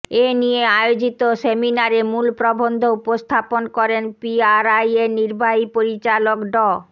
এ নিয়ে আয়োজিত সেমিনারে মূল প্রবন্ধ উপস্থাপন করেন পিআরআইয়ের নির্বাহী পরিচালক ড